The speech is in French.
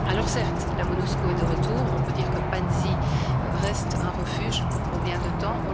Certes, la Monusco est de retour, on peut dire que Panzi reste un refuge, mais pour combien de temps?